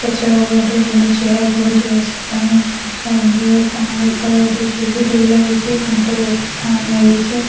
ପଛ ରେ ଚେୟାର ପଡିଚି ବସିବା ପାଇଁ ସାଇଡ ରେ କଣ ରେ ଉପରେ ଗୋଟେ ଲାଗିଚି କାନ୍ଥ ରେ ଗୋଟେ ଫ୍ୟାନ ଲାଗିଚି।